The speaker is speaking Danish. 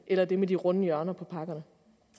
eller det med de runde hjørner på pakkerne